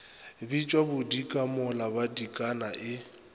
bitšwa bodika mola badikana e